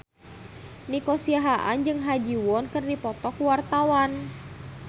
Nico Siahaan jeung Ha Ji Won keur dipoto ku wartawan